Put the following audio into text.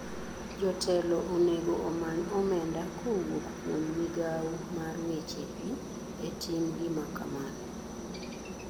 Jotelo onego omany omenda kowuok kuom migao mar weche pii e tim gima kamano.